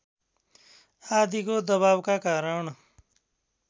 आदिको दबावका कारण